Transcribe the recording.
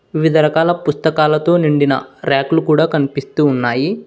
వివిధ రకాల పుస్తకాలతో నిండిన ర్యాకులు కూడా కనిపిస్తూ ఉన్నాయి.